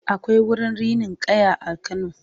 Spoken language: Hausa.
akwai wurin rinin kaya a kano